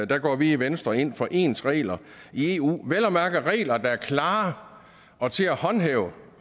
der går vi i venstre ind for ens regler i eu vel at mærke regler der er klare og til at håndhæve